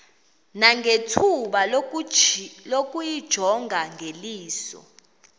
nangethuba lokuyijonga ngeliso